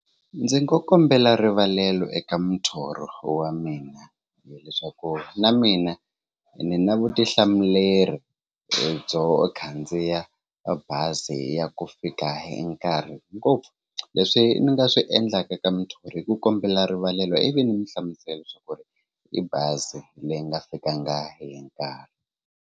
Ndzi ngo kombela rivalelo eka muthori wa mina hileswaku na mina ni na vutihlamuleri byo khandziya bazi ya ku fika hi nkarhi ngopfu leswi ni nga swi endlaka ka muthori i ku kombela rivalelo ivi ni mi hlamusela swa ku ri i bazi leyi nga fikanga hi nkarhi.